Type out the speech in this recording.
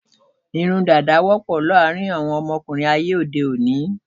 Irun dàda wọ́pọ̀ láàárín àwọn ọmọkùnrin ayé òde òní.